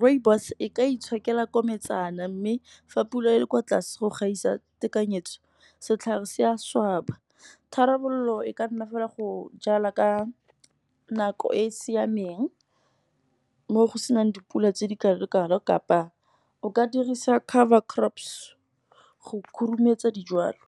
rooibos e ka itshokela kometshana, mme fa pula e le kwa tlase go gaisa tekanyetso setlhare se a swaba. Tharabololo e ka nna fela go jala ka nako e e siameng, mo go senang dipula tse di kalo-kalo kapa o ka dirisa cover crops go khurumetsa dijalo.